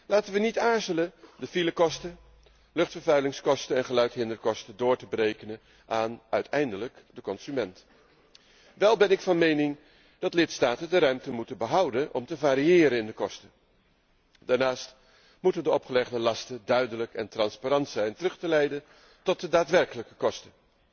Laten we niet aarzelen de filekosten, luchtvervuilingskosten en geluidshinderkosten door te berekenen aan, uiteindelijk, de consument. Wel ben ik van mening dat lidstaten de ruimte moeten behouden om te variëren in de kosten. Daarnaast moeten de opgelegde lasten duidelijk en transparant zijn terug te leiden tot de daadwerkelijke kosten.